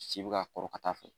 Si bɛ ka kɔrɔ ka taa fɛ.